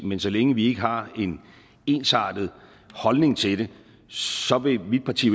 men så længe vi ikke har en ensartet holdning til det så vil mit parti